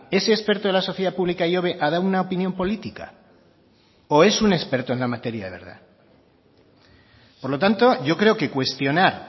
ese experto de la sociedad pública ihobe ha dado una opinión política o es un experto en la materia de verdad por lo tanto yo creo que cuestionar